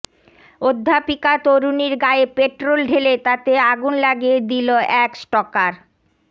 অধ্যাপিকা তরুণীর গায়ে পেট্রোল ঢেলে তাতে আগুন লাগিয়ে দিল এক স্টকার